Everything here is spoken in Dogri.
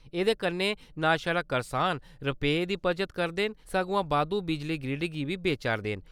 एह्दे कन्ने नांऽ छड़ा करसान रपेऽ दी बचत करदे न, सगुआं बाद्धू बिजली ग्रिड गी बी बेचा 'रदे न।